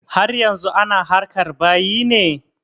Har yanzu ana harkar bayi ne?